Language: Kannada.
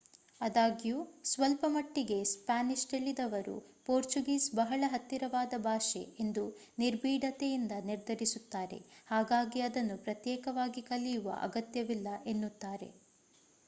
ಅದಾಗ್ಯು ಸ್ವಲ್ಪ ಮಟ್ಟಿಗೆ ಸ್ಪಾನಿಷ್ ತಿಳಿದವರು ಪೋರ್ಚುಗೀಸ್ ಬಹಳ ಹತ್ತಿರವಾದ ಭಾಷೆ ಎಂದು ನಿರ್ಬೀಢತೆಯಿಂದ ನಿರ್ಧರಿಸುತ್ತಾರೆ ಹಾಗಾಗಿ ಅದನ್ನು ಪ್ರತ್ಯೇಕವಾಗಿ ಕಲಿಯುವ ಅಗತ್ಯವಿಲ್ಲ ಎನ್ನುತ್ತಾರೆ